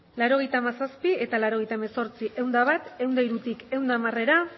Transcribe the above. laurogeita hamazazpi eta laurogeita hemezortzi ehun eta bat ehun eta hirutik ehun eta hamarera